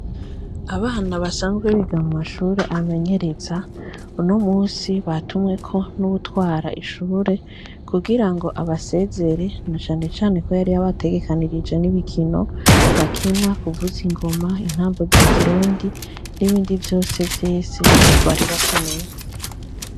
Abana basanzwe biga mu mashuri amenyereza uno musi batumweko n'uwutwara iryo shuri ku girango abasezere na cane cane ko yari yabategekeranije n'ibikino bakina ku vuza ingoma intambo z'ikirundi n'ibindi vyisi bari bakeneye.